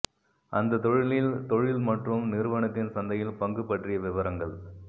அந்தத் தொழிலில் தொழில் மற்றும் நிறுவனத்தின் சந்தையில் பங்கு பற்றிய விவரங்கள்